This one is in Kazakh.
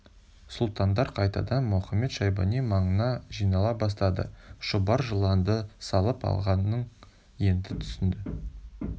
сұлтандар қайтадан мұхамед-шайбани маңына жинала бастады шұбар жыланды салып алғанын енді түсінді